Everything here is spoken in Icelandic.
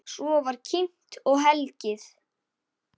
Svo var kímt og hlegið.